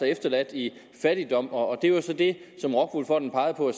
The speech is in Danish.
efterladt i fattigdom og det var så det rockwool fonden pegede på